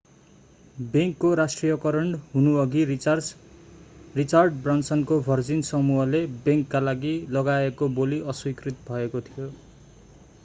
बैंकको राष्ट्रियकरण हुनुअघि रिचार्ड ब्रानसनको भर्जिन समूहले बैंकका लागि लगाएको बोली अस्वीकृत भएको थियो